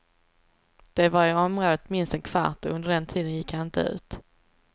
De var i området minst en kvart och under den tiden gick han inte ut.